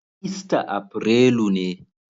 Ista aprelu ne.